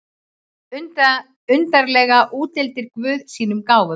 Undarlega útdeilir guð sínum gáfum.